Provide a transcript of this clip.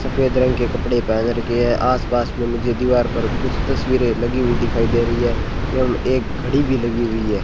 सफेद रंग के कपड़े पहन रखे है आस पास में मुझे दीवार पर कुछ तस्वीरें लगी हुई दिखाई दे रही है एवं एक घड़ी भी लगी हुई है।